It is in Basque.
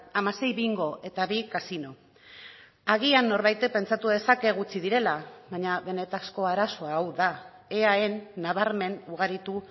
hamasei bingo eta bi kasino agian norbaitek pentsatu dezake gutxi direla baina benetako arazoa hau da eaen nabarmen ugaritu